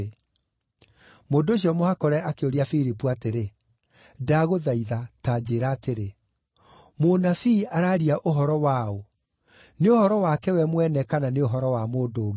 Mũndũ ũcio mũhakũre akĩũria Filipu atĩrĩ, “Ndagũthaitha, ta njĩĩra atĩrĩ, mũnabii araaria ũhoro wa ũ, nĩ ũhoro wake we mwene kana nĩ ũhoro wa mũndũ ũngĩ?”